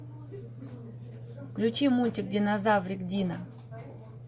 включи мультик динозаврик дино